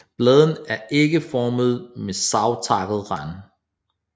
Bladene er ægformede med savtakket rand